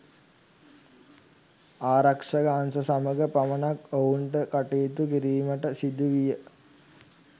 ආරක්ෂක අංශ සමග පමණක් ඔවුන්ට කටයුතු කිරීමට සිදුවිය.